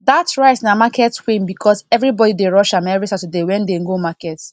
that rice na market queen because everybody dey rush am every saturday wen dem go market